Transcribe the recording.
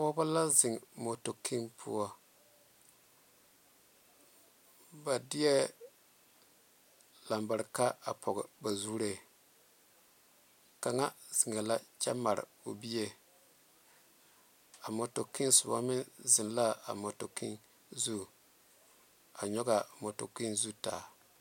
Pɔgeba la zeŋe motokene poɔ ba de labareka poɔ ba zuri ka zeŋe la kyɛ maare o bie a motoken soba meŋ zeŋe a motokene zu a nyɔge a motokene zu ta.